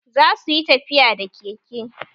Za su yi tafiya da keke